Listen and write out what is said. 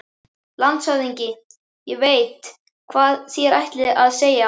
LANDSHÖFÐINGI: Ég veit, hvað þér ætlið að segja.